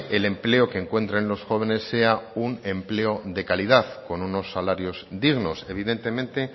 el empleo que encuentren los jóvenes sea también un empleo de calidad con unos salarios dignos evidentemente